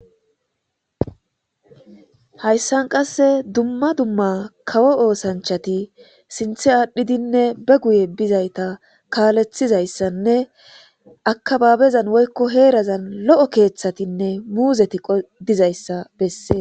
hayssan qasse dumma dumma kawo oosanchati sinthe aadhdhidinne be guye bizayta kaalethizayssanne akababezan woykko heerazan lo7o keeththatinne muuzeti qodizayssa bessee